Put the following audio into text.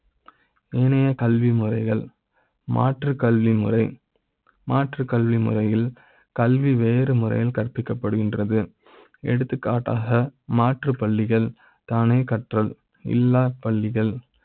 ஏனைய கல்வி முறைகள் மாற்றுக் கல்வி முறை மாற்றுக் கல்வி முறையில் கல்வி வேறு முறையில் கற்பிக்க ப்படுகின்றது எடுத்துக்காட்டாக மாற்று பள்ளிகள் தானே கற்றல் இல்லா பள்ளிகள்